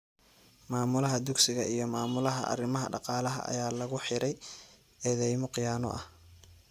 Maamulaha dugsiga iyo Maamulaha arrimaha dhaqaalaha ayaa lagu xiray eedeymo khiyaano ah.